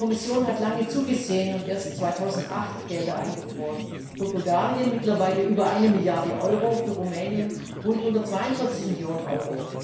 Die Kommission hat lange zugesehen und erst 2008 Gelder eingefroren für Bulgarien mittlerweile über 1 Milliarde EUR, für Rumänien rund 142 Millionen EUR.